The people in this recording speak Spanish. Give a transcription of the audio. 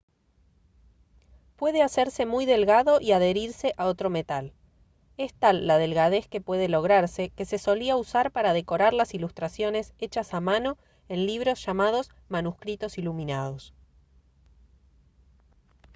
puede hacerse muy delgado y adherirse a otro metal. es tal la delgadez que puede lograrse que se solía usar para decorar las ilustraciones hechas a mano en libros llamados «manuscritos iluminados»